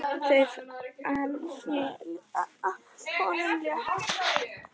Þungu fargi af honum létt.